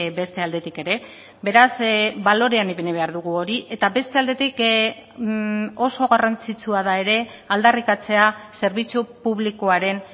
beste aldetik ere beraz balorean ipini behar dugu hori eta beste aldetik oso garrantzitsua da ere aldarrikatzea zerbitzu publikoaren